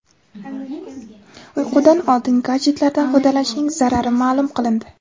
Uyqudan oldin gadjetlardan foydalanishning zarari ma’lum qilindi.